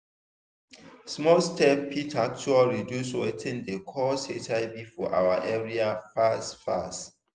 small steps fit actually reduce watin dey cause hiv for our area fast fast.